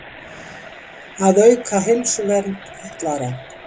Að auka heilsuvernd fatlaðra.